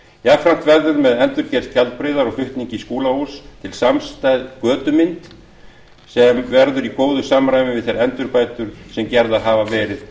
jafnframt verður með endurgerð skjaldbreiðar og flutningi skúlahúss til samstæð götumynd sem verður í góðu samræmi við þær endurbætur sem gerðar hafa verið